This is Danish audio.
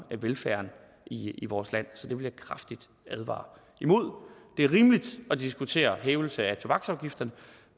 velfærden i vores land så det vil jeg kraftigt advare imod det er rimeligt at diskutere en hævelse af tobaksafgifterne